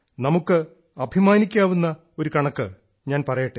നമുക്ക് അഭിമാനിക്കാവുന്ന ഒരു കണക്ക് ഞാൻ പറയട്ടെ